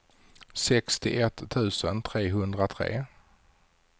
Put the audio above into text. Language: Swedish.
sextioett tusen trehundratre